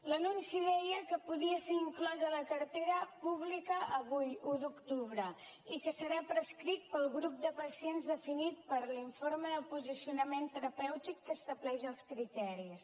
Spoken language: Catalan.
l’anunci deia que podia ser inclòs a la cartera pública avui un d’octubre i que serà prescrit per al grup de pacients definit per l’informe de posicionament terapèutic que n’estableix els criteris